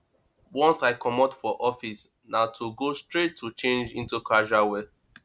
once i comot for office na togo straight to change into casual wear